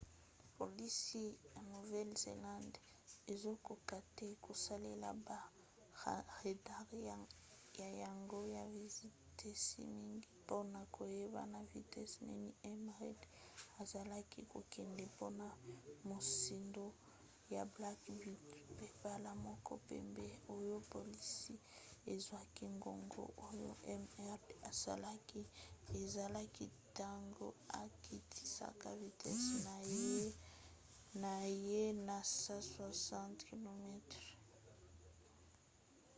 polisi ya nouvelle-zelande ezokoka te kosalela ba radare na yango ya vitesi mingi mpona koyeba na vitese nini m. reid azalaki kokende mpona mozindo ya black beauty pe mbala moko pamba oyo polisi ezwaki ngonga oyo m. reid asalaki ezalaki ntango akitisaka vitese na ye na 160 km/h